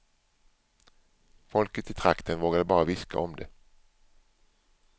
Folket i trakten vågade bara viska om det.